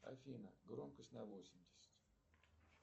афина громкость на восемьдесят